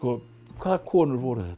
hvaða konur voru þetta